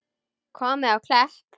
Komið á Klepp?